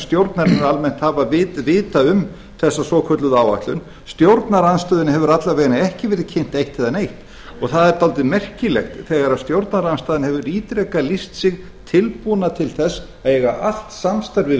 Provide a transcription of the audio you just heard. stjórnarinnar almennt hafa vitað um þessa svokölluðu áætlun stjórnarandstöðunni hefur alla vegana ekki verið kynnt eitt eða neitt það er dálítið merkilegt þegar stjórnarandstaðan hefur ítrekað lýst sig tilbúna til þess að eiga allt samstarf við